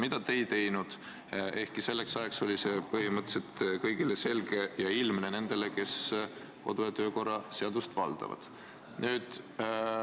Seda teie ei teinud, ehkki selleks ajaks oli see rikkumine nendele, kes kodu- ja töökorra seadust valdavad, põhimõtteliselt selge.